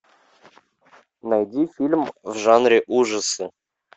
найди фильм в жанре ужасы